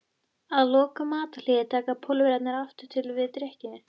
Að loknu matarhléi taka Pólverjarnir aftur til við drykkju.